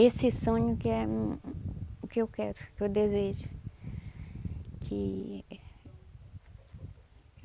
Esse sonho que é o que eu quero, o que eu desejo que...